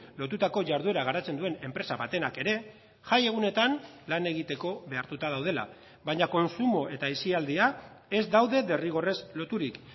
lotutako jarduera garatzen duen enpresa batenak ere jai egunetan lan egiteko behartuta daudela baina kontsumo eta aisialdia ez daude derrigorrez loturik